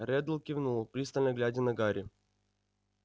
реддл кивнул пристально глядя на гарри